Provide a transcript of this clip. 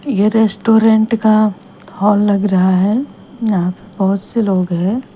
यह रेस्टोरेंट का हॉल लग रहा है यहां बहुत से लोग हैं।